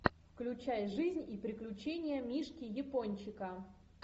включай жизнь и приключения мишки япончика